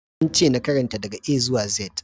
An ce in karanta daga A zuwa Z.